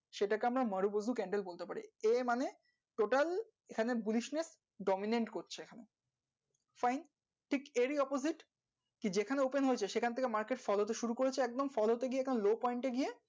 সেটাকে marubozu, candle বলে total অন্যতম এর opposite সেখান থেকে market, fall শুরু করেচ্ছে একদম